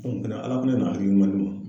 ala fɛnɛ nana hakili ɲuman di ne ma.